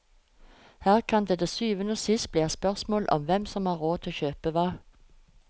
Her kan det til syvende og sist bli et spørsmål om hvem som har råd til å kjøpe hva.